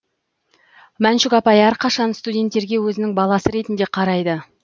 мәншүк апай әрқашан студенттерге өзінің баласы ретінде қарайды